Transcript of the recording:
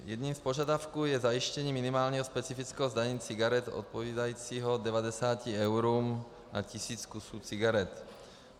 Jedním z požadavků je zajištění minimálního specifického zdanění cigaret odpovídajícího 90 eurům na tisíc kusů cigaret.